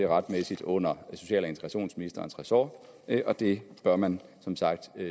retmæssigt under social og integrationsministerens ressort og det bør man som sagt